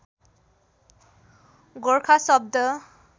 गोर्खा शब्द